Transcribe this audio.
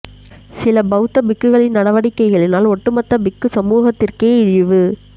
சில பௌத்த பிக்குகளின் நடவடிக்கைகளினால் ஒட்டு மொத்த பிக்கு சமூகத்திற்கே இழிவு